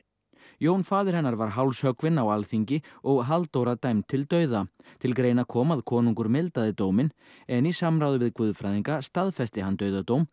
Jón faðir hennar var hálshöggvinn á Alþingi og Halldóra dæmd til dauða til greina kom að konungur mildaði dóminn en í samráði við guðfræðinga staðfesti hann dauðadóm